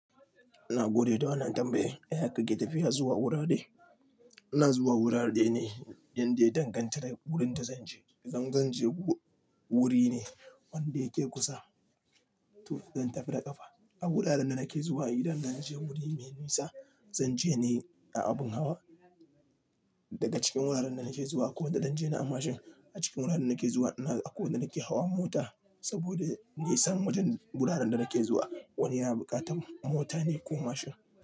Na gode da wannan tambayi. Yaya kake tafiya zuwa wurare? Ina zuwa wurare ne indaya dangantaka wurinda zanje. Idan zanje wuri ne wanda yake kusa, to zan tafi da ƙafa. A wuraren da nake zuwa idan na je wuri mai nisa, zanje ne a abin hawa. Daga cikin wuraren da nake zuwa akwai wanda zan je ni a mashin. A cikin wuraren da nake zuwa akwai wanda nake hawa mota saboda nisan wajen wuraren da nake zuwa. Wani yana buƙatar mota ne ko mashin.